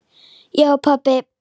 Já pabbi.